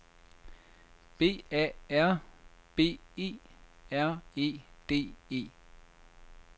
B A R B E R E D E